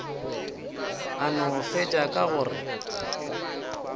a no fetša ka gore